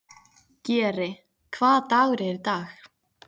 Geri, hvaða dagur er í dag?